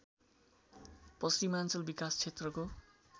पश्चिमाञ्चल विकास क्षेत्रको